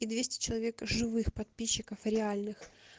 и двести человек живых подписчиков реальных